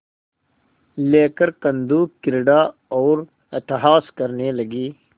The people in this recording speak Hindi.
लेकर कंदुकक्रीड़ा और अट्टहास करने लगी